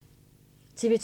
TV 2